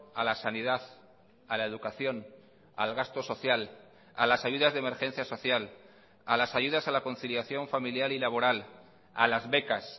a la sanidad a la educación al gasto social a las ayudas de emergencia social a las ayudas a la conciliación familiar y laboral a las becas